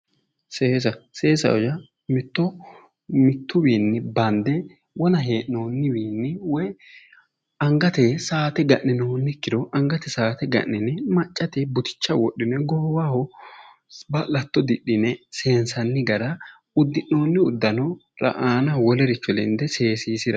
Seesa seesaho yaa mitto mittu wiini banidde wona hee'nooni wiinni woyi anigate saate ga'ninooni ikkiro anigate saate ga'nine maccate buticha wodhine goowaho ba'lato didhine seenisanni gara udi'nooni uddanora aanaho Wolericho lenide seesiisra